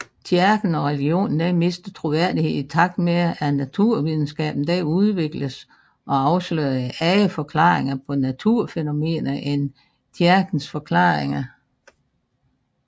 Kirken og religionen mistede troværdighed i takt med at naturvidenskaben udvikledes og afslørede andre forklaringer på naturfænomener end kirkens forklaringer